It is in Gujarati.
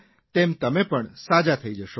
તેમ તમે પણ સાજા થઇ જશો